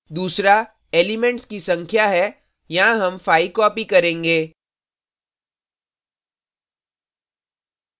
दूसरा elements की संख्या है यहाँ हम 5 copy करेंगे